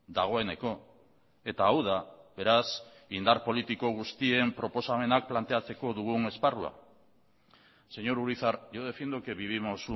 dagoeneko eta hau da beraz indar politiko guztien proposamenak planteatzeko dugun esparrua señor urizar yo defiendo que vivimos